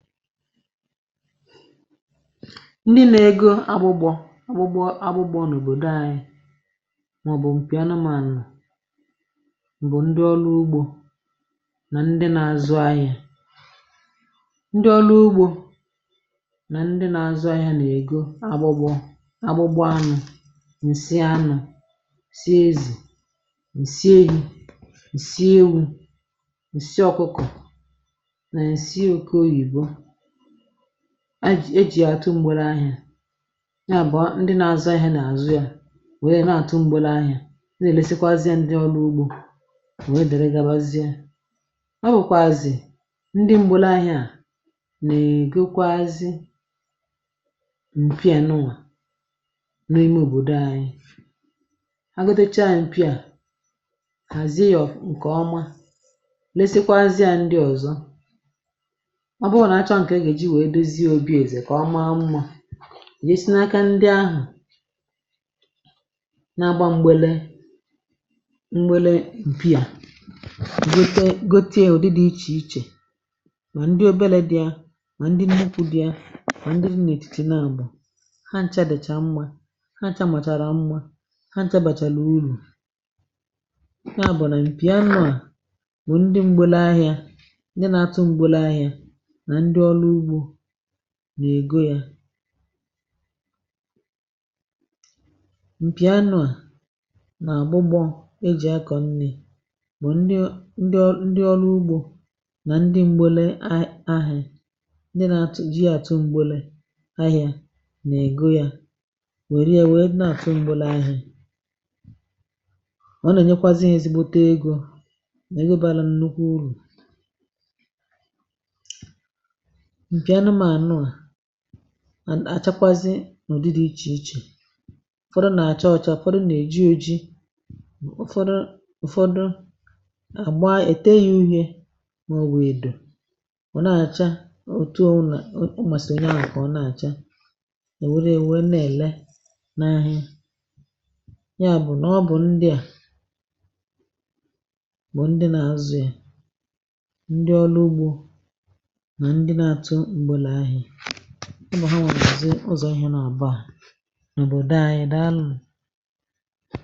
Ndị na ego agba-agbọ, agbụgbọo, agbụgbọ na obodo anyị ma ọ bụ nke anụmanụ bụ ndị ọrụ ugbo na ndị na-azụ ahịa. Ndị ọrụ ugbo na ndị na-azụ ahịa na ego agbụgbọ anụ nwe sị ya na nsí ewu, nsí ọkụkọ, nsí ha gị ya atu ngbere ahịa. Ya bụ, ndị na-azụ ahịa na-azụ ya, nwee na atu ngbere ahịa gabarịzie, arukwazị ndị ngbere ahịa nwe gọkwasị na elu obodo anyị. Ha gọtetụ cha, anyị pia lekwasịa ndị ọzọ ma ọ bụrụ na achọ nke a ga-eji dozie obi eze ka ọma mma nke ọma. Na-agba mgbere mgbere, pia gọte-gọtea ụdị dị iche iche—bụ ndị obere dị, ndị nnukwu dị, ma ndị na-etù na nbọ ha niile dị mma. Ha bụ na mpiànụ nwụrụ, ndị mgbere ahịa, ndị na-atu mgbere ahịa na ndị ọrụ ugbo na ego ya. Mpiànụ na-abụ eji ako nri na onye n’ ndị ọrụ ugbo na ndị nwere. Ndị na-atu mgbere ahịa na-egolia nwere ya na atu mgbere ahịa. Ọ na-enye kwa ezinụlọ ezigbo ego na ihe bara nnukwu uru nke anụmanụwa na-achịkwa si na ụdị dị iche iche. Ụfọdụ na-acha ọcha, ụfọdụ na-eji ojii, ụfọdụ a na-agbà ete ya, ihe o na-acha. Ụtụ ọ bụla masịrị ya ka o na-acha n’ahịa. Ya bụ, na ọ bụ ndị a bụ ndị na-azụ ya—ndị ọrụ ugbo na ndị na-atu mgbere ahịa ihe na-abụ abụọ.